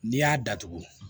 N'i y'a datugu